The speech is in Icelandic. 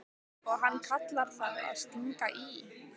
Og hann kallar það að stinga í.